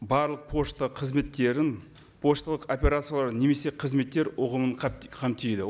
барлық пошта қызметтерін пошталық операцияларын немесе қызметтер ұғымын қамтиды